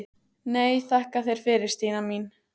Nei, þakka þér fyrir Stína mín.